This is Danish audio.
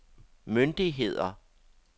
myndigheder